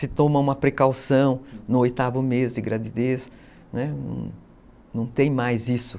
Se toma uma precaução no oitavo mês de gravidez, não tem mais isso.